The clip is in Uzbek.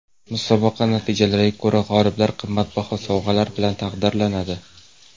Musobaqa natijalariga ko‘ra g‘oliblar qimmatbaho sovg‘alar bilan taqdirlanadi.